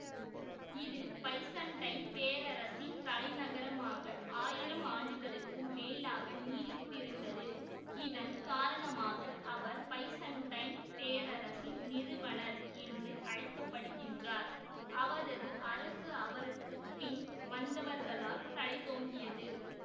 இது பைசன்டைன் பேரரசின் தலைநகரமாக ஆயிரம் ஆண்டுகளுக்கு மேலாக நீடித்திருந்ததுஇதன் காரணமாக அவர் பைசண்டைன் பேரரசின் நிறுவனர் என்று அழைக்கபடுகின்றார்அவரது அரசு அவருக்கு பின் வந்தவர்களால் தழைத்தோங்கியது